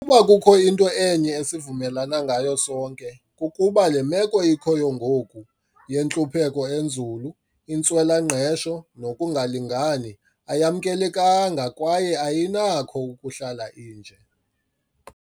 "Ukuba kukho into enye esivumelana ngayo sonke, kukuba le meko ikhoyo ngoku - yentlupheko enzulu, intswela-ngqesho nokungalingani - ayamkelekanga kwaye ayinakho ukuhlala inje."